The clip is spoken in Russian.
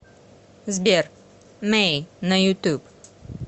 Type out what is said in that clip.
сбер мэй на ютуб